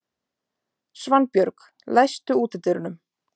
Svanbjörg, læstu útidyrunum.